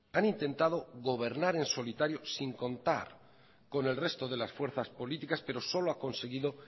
han intentado gobernar en solitario sin contar con el resto de las fuerzas políticas pero solo ha conseguido